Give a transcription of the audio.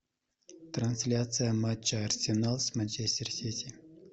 трансляция матча арсенал с манчестер сити